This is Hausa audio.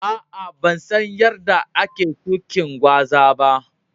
Aa, ban san yadda ake shukin gwaza ba.